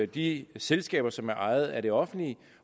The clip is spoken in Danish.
de selskaber som er ejet af det offentlige